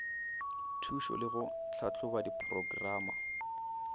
thušo le go tlhahloba diporokerama